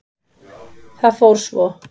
Það fór svo.